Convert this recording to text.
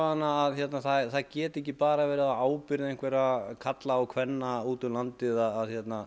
að það geti ekki bara verið á ábyrgð einhverra karla og kvenna út um landið að